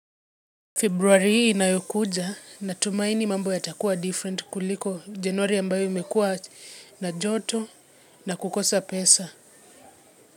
Februari hii inayokuja, natumaini mambo yatakuwa different kuliko Januari ambayo imekuwa na joto na kukosa pesa.